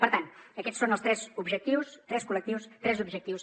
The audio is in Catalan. per tant aquests són els tres objectius tres col·lectius tres objectius